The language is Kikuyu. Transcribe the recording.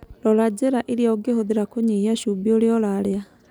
Rora njĩra irĩa ũngĩhũthĩra kũnyihia cumbĩ ũrĩa ũrarĩa.